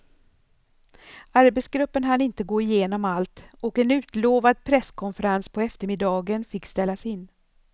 Arbetsgruppen hann inte gå igenom allt och en utlovad presskonferens på eftermiddagen fick ställas in.